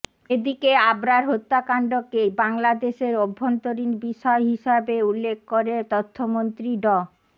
এদিকে আবরার হত্যাকাণ্ডকে বাংলাদেশের অভ্যন্তরীণ বিষয় হিসেবে উল্লেখ করে তথ্যমন্ত্রী ড